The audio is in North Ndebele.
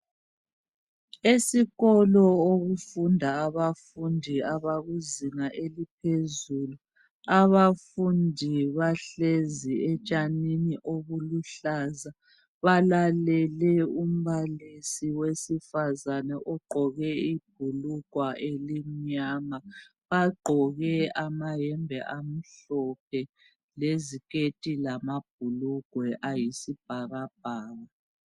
Esikolo okufunda abafundi abakuzinga eliphezulu abafundi bahlezi etshanini obuluhlaza balalele umbalisi owesifazana ogqoke ibhulugwe elimnyama bagqoke amayembe amhlophe leziketi lamabhulugwe ayisibhakabhaka.